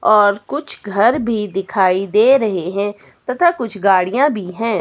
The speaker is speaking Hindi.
और कुछ घर भी दिखाई दे रहे हैं तथा कुछ गाड़ियां भी है।